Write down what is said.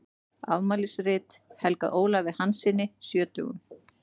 Afmælisrit helgað Ólafi Hanssyni sjötugum.